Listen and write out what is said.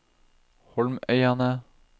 Holmøyane